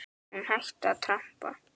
Hún hætti að trampa.